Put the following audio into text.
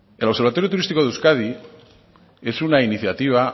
el observatorio turístico de euskadi es una iniciativa